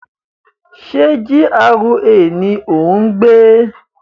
Ṣé GRA ni o n gbé?